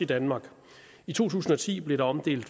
danmark i to tusind og ti blev der omdelt